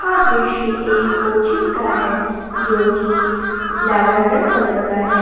यह दृश्य एक कोचिंग का है जो कि लैवेंडर कलर का है।